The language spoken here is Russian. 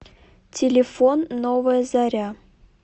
телефон новая заря